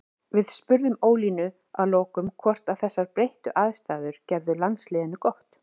Við spurðum Ólínu að lokum hvort að þessar breyttu aðstæður gerðu landsliðinu gott.